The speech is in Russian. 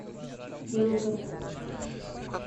белгород